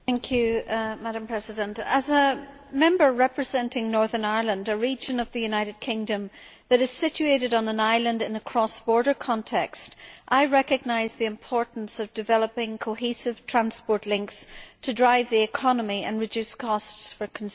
Madam President, as a Member representing Northern Ireland, a region of the United Kingdom that is situated on an island in a cross border context, I recognise the importance of developing cohesive transport links to drive the economy and reduce costs for consumers.